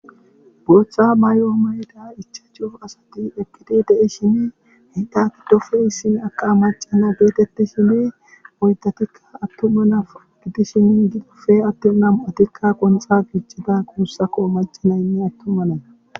Booththa mayo mayida ichashu asati eqqidi de'ishin ettape issina macca na getetishin oydatikka atuma na gidishin adde nam'atikka qonxxa gixxida macca naynne atuma nayi